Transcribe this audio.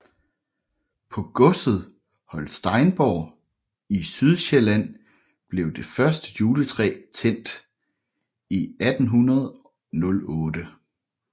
På godset Holsteinborg i Sydsjælland blev det første juletræ tændt i 1808